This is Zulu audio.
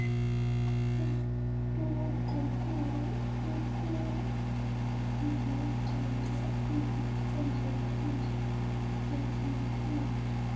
okuguquka izikhondlakhondla zezikhungo